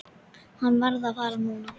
Hann varð að fara núna.